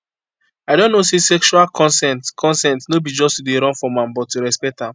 i don know say sexual consent consent no be to just dey run from am but to respect am